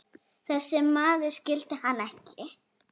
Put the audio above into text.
Þessi maður skildi hann ekki.